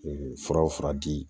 fura o fura di